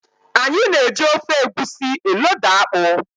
Anyị na eji ofe Egwusi elóda akpụ.